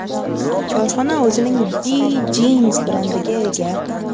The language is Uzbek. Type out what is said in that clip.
Korxona o‘zining B Jeans brendiga ega.